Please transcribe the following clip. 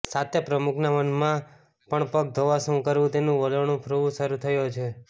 સાથે પ્રમુખના મનમાં પણ પગ ધોવા શું કરવું તેનું વલોણું ફ્રવું શરૂ થયું હતું